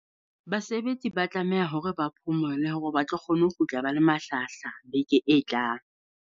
Basebetsi ba tlameha hore ba phomole hore ba tlo kgona ho kgutla ba le malhlahahlaha beke e tlang.